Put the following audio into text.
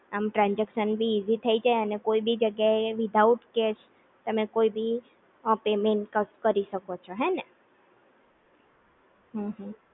આમ ટ્રાનજેક્શન બી ઈઝી થઈ જાઇ અને કોઈ બી જગ્યા એ વિધાઉટ કેશ તમે કોઈ બી અ પેમેન્ટ કરી શકો છો હેને?